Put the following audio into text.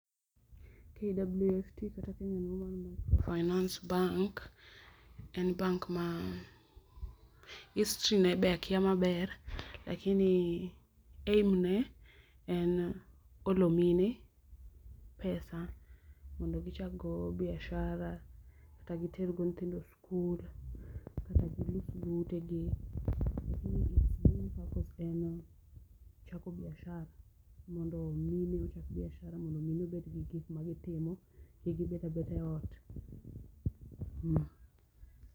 KWFT kata Kenya Women Microfinance Bank en bank ma history ne be akia maber lakini aim ne en olo mine pesa mondo gichak go biashara kata giter go nyithindo skul, kata gilos go tegi lakini its main purpose en chako biashara mondo mine ochak biashara mondo mine obed kod gik ma gitimo kik gibed abeda e ot, mmm